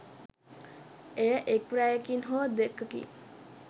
එය එක් රැයකින් හෝ දෙකකින්